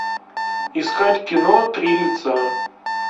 искать кино три лица